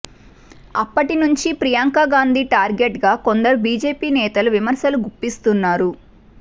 అప్పటి నుంచి ప్రియాంక గాంధీ టార్గెట్గా కొందరు బీజేపీ నేతలు విమర్శలు గుప్పిస్తున్నారు